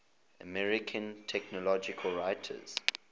american technology writers